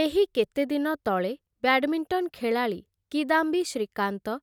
ଏହି କେତେଦିନ ତଳେ ବ୍ୟାଡ଼ମିଣ୍ଟନ ଖେଳାଳି କିଦାମ୍ବି ଶ୍ରୀକାନ୍ତ